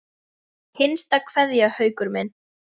HINSTA KVEÐJA Haukur minn.